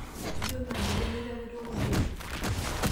Ijo madoli enitapetoko bei?